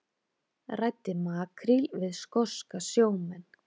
Ræddi makríl við skoska sjómenn